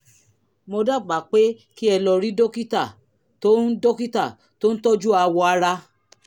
mo dábàá pé kí ẹ lọ rí dókítà tó ń dókítà tó ń tọ́jú awọ ara